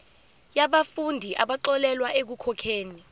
yabafundi abaxolelwa ekukhokheni